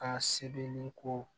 Ka sebeniko